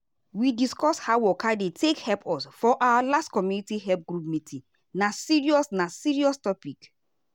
we discuss how waka dey take help us for our last community health group meeting na serious na serious topic.